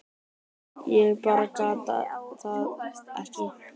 Ég bara gat það ekki.